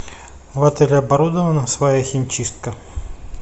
в отеле оборудована своя химчистка